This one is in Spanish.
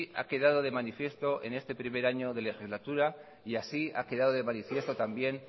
ha quedado de manifiesto en este primer año de legislatura y así ha quedado de manifiesto también